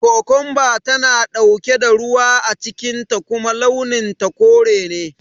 Kukunba tana ɗauke da ruwa a cikin ta kuma launin ta kore ne